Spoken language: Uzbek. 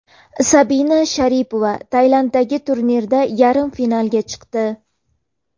Sabina Sharipova Tailanddagi turnirda yarim finalga chiqdi.